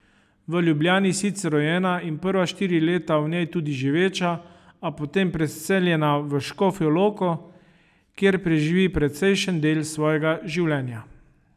V Ljubljani sicer rojena in prva štiri leta v njej tudi živeča, a potem preseljena v Škofjo Loko, kjer preživi precejšen del svojega življenja.